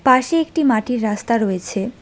পাশেই একটি মাটির রাস্তা রয়েছে।